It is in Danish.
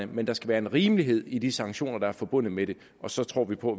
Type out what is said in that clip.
men der skal være rimelighed i de sanktioner der er forbundet med det og så tror vi på